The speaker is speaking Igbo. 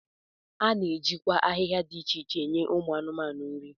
A na-ejikwa ahịhịa dị iche iche enye ụmụ anụmanụ nri